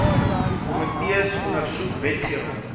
komitees ondersoek wetgewing